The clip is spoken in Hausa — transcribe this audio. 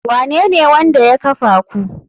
Wanene wanda ya kafa ku?